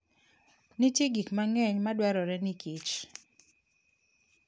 Nitie gik mang'eny madwarore ni kich.